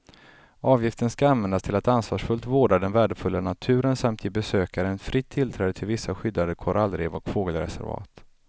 Avgiften ska användas till att ansvarsfullt vårda den värdefulla naturen samt ge besökaren fritt tillträde till vissa skyddade korallrev och fågelreservat.